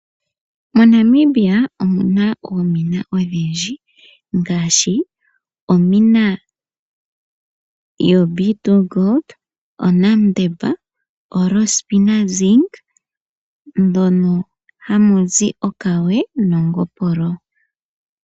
MoNamibia omuna oomina odhindji ngaashi omina yoB2 Gold, oNamDeb, oRoshpinah Zinc mono hamu zi okawe nongopolo.